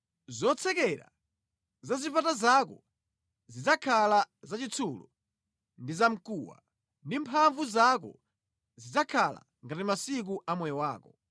Zotsekera za zipata zako zidzakhala za chitsulo ndi za mkuwa, ndi mphamvu zako zidzakhala ngati masiku a moyo wako.